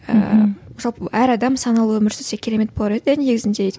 ііі жалпы әр адам саналы өмір сүрсе керемет болар еді иә негізінде